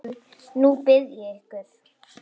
Nú bið ég ykkur